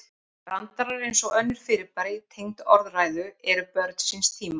Brandarar, eins og önnur fyrirbæri tengd orðræðu, eru börn síns tíma.